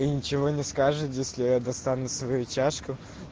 и ничего не скажет если я достану сою чашку